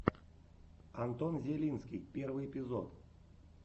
антон зелинский первый эпизод